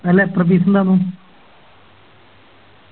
അല്ല എത്ര Piece ഇണ്ടായിന്നു